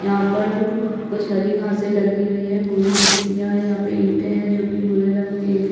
यहाँ पर अ कुछ हरी घासे लगी हुई है भूरी मिट्टिया है यहाँ पे ईटे है जो की भुरे रंग है।